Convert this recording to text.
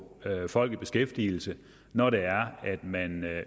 folk i beskæftigelse når det er at man